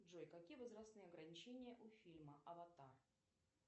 джой какие возрастные ограничения у фильма аватар